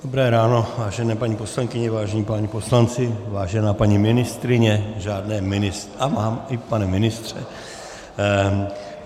Dobré ráno, vážené paní poslankyně, vážení páni poslanci, vážená paní ministryně, žádné ministry... a mám, i pane ministře.